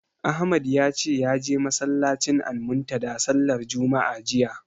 Ahmad ya ce ya je masallacin Almuntadha sallar juma'a jiya.